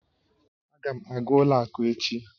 Aga m aga ụlọ akụ echi